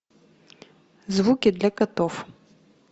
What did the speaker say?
звуки для котов